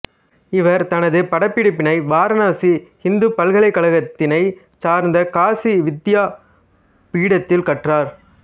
இவர் தனது பட்டப்படிப்பினை வாரணாசி இந்துப் பல்கலைக்கழகத்தினைச் சார்ந்த காசி வித்யா பீடத்தில் கற்றார்